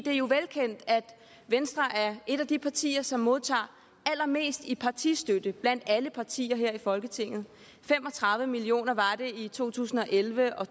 er jo velkendt at venstre er et af de partier som modtager allermest i partistøtte blandt alle partier her i folketinget fem og tredive million kroner var det i to tusind og elleve og